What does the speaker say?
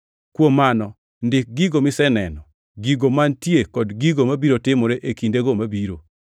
“Kuom mano, ndik gigo miseneno, gigo mantie kod gigo mabiro timore e kindego mabiro.